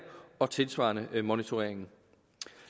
og tilsvarende monitoreringen